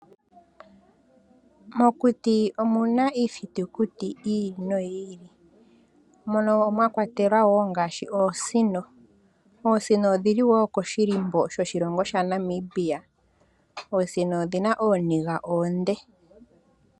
Mokuti omu na iithitukuti yi ili noyi ili mono mwa kwatelwa wo oosino. Oosino pdhi li wo koshihako shoshilongo shetu shaNamibia. Oosino odhi na ooniga oonde.